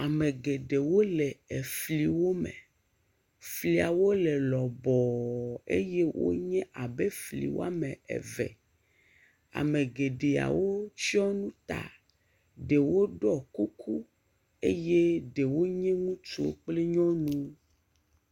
Ame geɖewo le efliwo me fliwo le lɔbɔɔɔ eye wonye abe fli woame eve ame geɖewotsiɔ nu ta ɖewo ɖɔ kuku eye ɖewo nye ŋutsu kple nyɔnu.